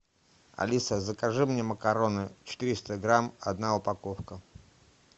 алиса закажи мне макароны четыреста грамм одна упаковка